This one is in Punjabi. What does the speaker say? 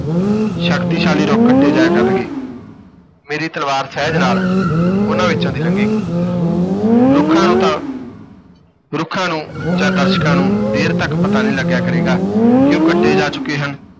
ਸ਼ਕਤੀਸ਼ਾਲੀ ਰੁੱਖ ਕੱਟੇ ਜਾਇਆ ਕਰਨਗੇ ਮੇਰੀ ਤਲਵਾਰ ਸਹਿਜ ਨਾਲ ਉਨ੍ਹਾਂ ਵਿਚੋਂ ਦੀ ਲੰਘੇਗੀ ਰੁੱਖਾਂ ਨੂੰ ਤਾਂ ਰੁੱਖਾਂ ਨੂੰ ਜਾਂ ਦਰਸ਼ਕਾਂ ਨੂੰ ਦੇਰ ਤਕ ਪਤਾ ਨਹੀਂ ਲੱਗਿਆ ਕਰੇਗਾ ਕਿ ਉਹ ਕੱਟੇ ਜਾ ਚੁੱਕੇ ਹਨ।